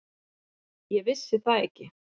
Ég vissi það ekki.